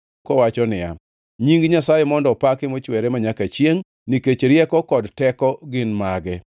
kowacho niya: Nying Nyasaye mondo opaki mochwere manyaka chiengʼ; nikech rieko kod teko gin mage.